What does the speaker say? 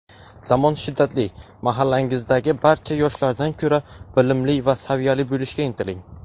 Zamon shiddatli. Mahallangizdagi barcha yoshlardan ko‘ra bilimli va saviyali bo‘lishga intiling.